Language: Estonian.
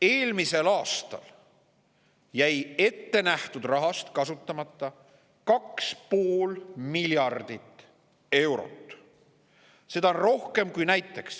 " Eelmisel aastal jäi ettenähtud rahast kasutamata 2,5 miljardit eurot.